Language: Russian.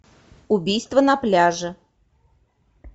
убийство на пляже